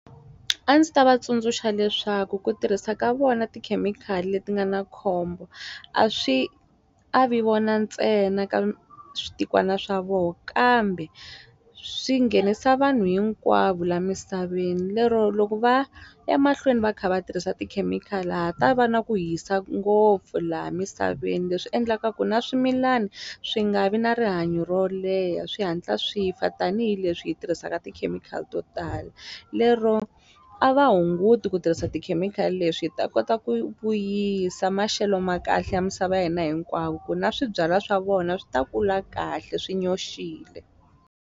A ndzi ta va tsundzuxa leswaku ku tirhisa ka vona tikhemikhali leti nga na khombo a swi avi vona ntsena ka switikwana swa voho kambe swi nghenisa vanhu hinkwavo la misaveni lero loko va ya mahlweni va kha va tirhisa tikhemikhali ha ha ta va na ku hisa ngopfu laha misaveni leswi endlaka ku na swimilana swi nga vi na rihanyo ro leha swi hatla swi fa tanihileswi hi tirhisaka tikhemikhali to tala lero a va hunguti ku tirhisa tikhemikhali leswi hi ta kota ku vuyisa maxelo ma kahle ya misava ya hina hinkwavo ku na swibyala swa vona swi ta kula kahle swi nyoxile.